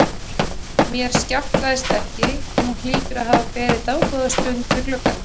Mér skjátlaðist ekki, hún hlýtur að hafa beðið dágóða stund við gluggann.